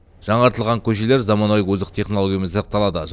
жаңартылған көшелер заманауи озық технологиямен жасақталады